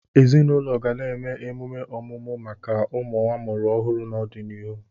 Ezinụlọ ga-eme emume ọmụmụ maka ụmụ amụrụ ọhụrụ n'ọdịnihu.